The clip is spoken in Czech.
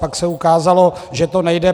Pak se ukázalo, že to nejde.